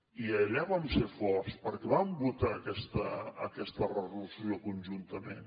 i allà vam ser forts perquè vam votar aquesta resolució conjuntament